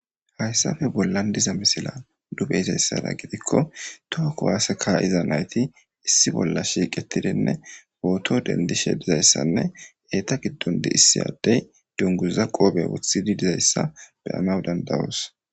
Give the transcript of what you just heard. hayssape bollan diza misila nu beyizayssara gidikko tohakko waase ka7iza nayti issi bolla shiiqetidinne booto dendishe dizayssanne eeta giddon diissi addey dunguza qoobe wothidi dizayssa beyanaw dandawoos